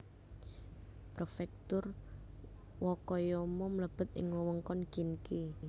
Prefektur Wakayama mlebet ing wewengkon Kinki